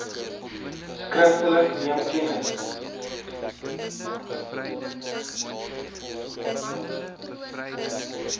skriftelik neem kennis